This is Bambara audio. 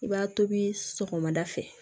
I b'a tobi sɔgɔmada fɛ